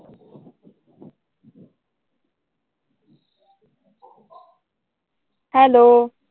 Hello.